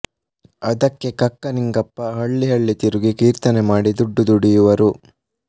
ಅದಕ್ಕೆ ಕಕ್ಕ ನಿಂಗಪ್ಪ ಹಳ್ಳಿ ಹಳ್ಳಿ ತಿರುಗಿ ಕೀರ್ತನೆ ಮಾಡಿ ದುಡ್ಡು ದುಡಿಯುವರು